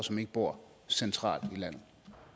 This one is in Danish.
som ikke bor centralt i landet